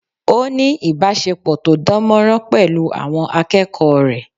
Ó ní ìbásepọ̀ to dán mọ́rán pẹ̀lú àwọn akẹ́kọ̀ọ́ rẹ̀